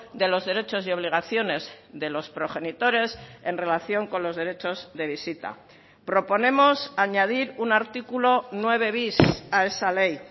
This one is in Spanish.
de los derechos y obligaciones de los progenitores en relación con los derechos de visita proponemos añadir un artículo nueve bis a esa ley